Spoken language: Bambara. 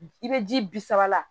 I bɛ ji bi saba la